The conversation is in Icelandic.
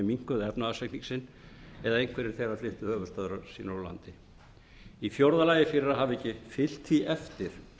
minnkuðu efnahagsreikning sinn eða einhverjir þeirra flyttu höfuðstöðvar sínar úr landi fjórði fyrir að hafa ekki fylgt því eftir